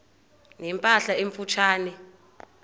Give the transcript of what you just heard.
ne mpahla emfutshane